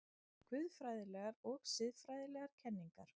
GUÐFRÆÐILEGAR OG SIÐFRÆÐILEGAR KENNINGAR